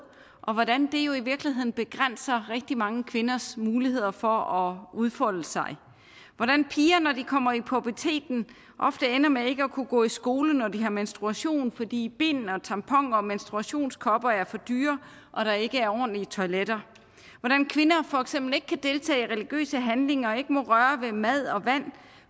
og hvordan det i virkeligheden begrænser rigtig mange kvinders muligheder for at udfolde sig hvordan piger når de kommer i puberteten ofte ender med ikke at kunne gå i skole når de har menstruation fordi bind og tamponer og menstruationskopper er for dyre og der ikke er ordentlige toiletter hvordan kvinder for eksempel ikke kan deltage i religiøse handlinger og ikke må røre ved mad og vand